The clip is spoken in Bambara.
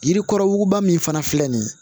Yirikɔrɔba min fana filɛ nin ye